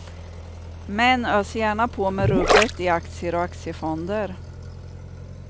Män öser gärna på med rubbet i aktier och aktiefonder.